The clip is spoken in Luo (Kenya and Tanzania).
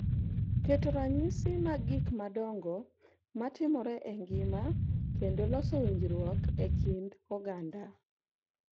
Keto ranyisi mag gik madongo matimore e ngima kendo loso winjruok e kind oganda.